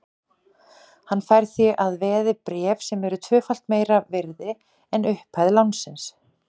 Hann fær því að veði bréf sem eru tvöfalt meira virði en upphæð lánsins.